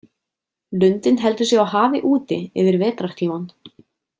Lundinn heldur sig á hafi úti yfir vetrartímann.